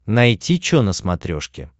найти че на смотрешке